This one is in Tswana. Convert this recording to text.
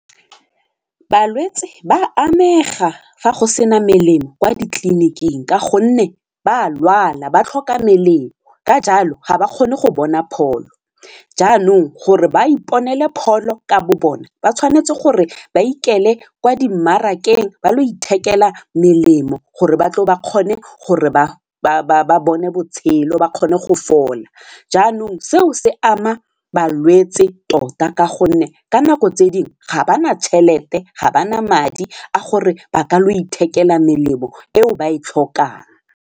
Balwetse ba amega fa go sena melemo kwa ditleliniking ka gonne ba lwala ba tlhoka melemo ka jalo ga ba kgone go bona pholo jaanong gore ba iponele pholo ka bo bona ba tshwanetse gore ba ikele kwa dimmarakeng ba lo ithekela melemo gore batle ba kgone gore ba bone botshelo ba kgone go fola jaanong seo se ama balwetse tota ka gonne ka nako tse dingwe ga ba na tšhelete, ga ba na madi a gore ba ka lo ithekela melemo eo ba e tlhokang.